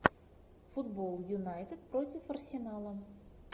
футбол юнайтед против арсенала